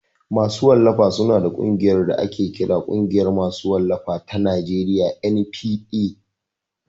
Masu wallafa su na da ƙungiyar da ake kira Ƙungiyar ma su wallafa ta Najeriya (NPA)